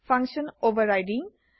function overriding